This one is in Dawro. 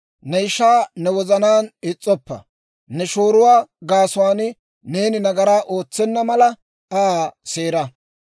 « ‹Ne ishaa ne wozanaan is's'oppa. « ‹Ne shooruwaa gaasuwaan neeni nagaraa ootsenna mala, Aa seera.